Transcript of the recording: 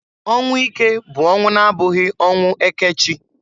Ọnwụ ike bụ ọnwụ na-abụghị ọnwụ eke chi.